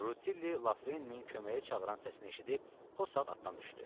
Rutilli Lafreninin köməyə çağıran səsini eşidib o saat atdan düşdü.